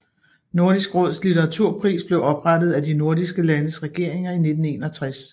Nordisk Råds litteraturpris blev oprettet af de nordiske landes regeringer i 1961